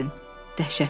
Dəhşətdir.